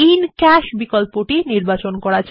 cash অপশনটি নির্বাচন করা যাক